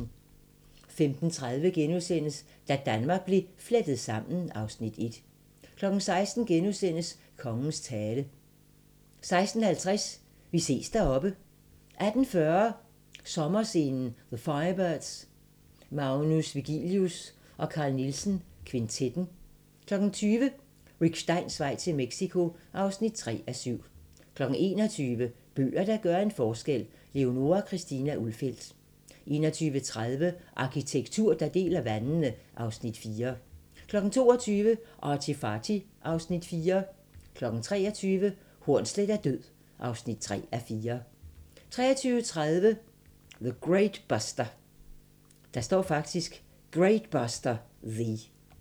15:30: Da Danmark blev flettet sammen (Afs. 1)* 16:00: Kongens tale * 16:50: Vi ses deroppe 18:40: Sommerscenen: The Firebirds, Magnus Vigilius & Carl Nielsen Kvintetten 20:00: Rick Steins vej til Mexico (3:7) 21:00: Bøger, der gør en forskel – Leonora Christina Ulfeldt 21:30: Arkitektur, der deler vandene (Afs. 4) 22:00: ArtyFarty (Afs. 4) 23:00: Hornsleth er død (3:4) 23:30: Great Buster, The